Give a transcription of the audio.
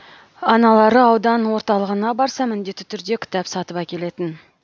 аналары аудан орталығына барса міндетті түрде кітап сатып әкелетін